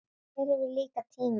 Hver hefur líka tíma?